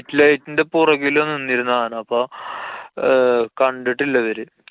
street light ന്‍റെ പൊറകിലാ നിന്നിരുന്ന് ആന. അപ്പൊ അഹ് കണ്ടിട്ടില്ലാ ഇവര്.